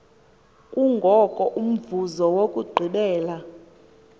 kungoko umvuzo wokugqibela